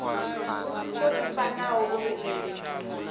mbudziso i fanela uri i